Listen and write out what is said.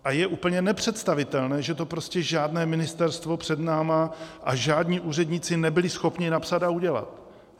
A je úplně nepředstavitelné, že to prostě žádné ministerstvo před námi a žádní úředníci nebyli schopni napsat a udělat.